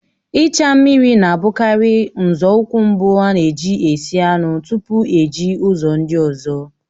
Ịcha mmiri na-abụkarị nzọụkwụ mbụ na-eji esi anụ tupu eji ụzọ ndị ọzọ